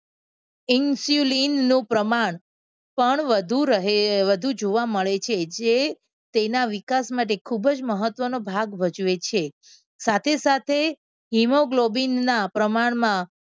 Insulin નું પ્રમાણ પણ વધુ રહે અમ વધુ જોવા મળે છે. જે તેનો વિકાસ માટે ખૂબ જ મહત્વનો ભાગ ભજવે છે. સાથે સાથે hemoglobin ના પ્રમાણમાં